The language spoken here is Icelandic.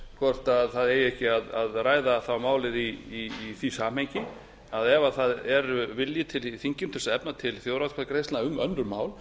hvort það eigi ekki að ræða málið í því samhengi að ef það er vilji til í þinginu til að efna til þjóðaratkvæðagreiðslna um önnur mál